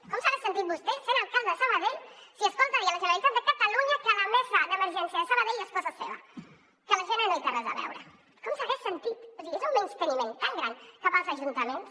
com s’ha de sentir vostè sent alcalde de sabadell si escolta dir a la generalitat de catalunya que la mesa d’emergència de sabadell és cosa seva que la gene no hi té res a veure com s’hagués sentit o sigui és un menysteniment tan gran cap als ajuntaments